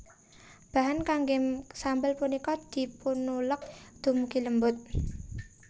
Bahan kanggé sambel punika dipunuleg dumugi lembut